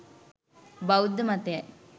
බෞද්ධ මතයයි.